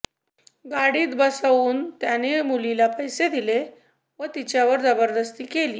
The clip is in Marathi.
गाडीत बसवून त्याने मुलीला पैसे दिले व तिच्यावर जबरदस्ती केली